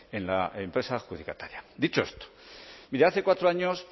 en la empresa adjudicataria dicho esto mire hace cuatro años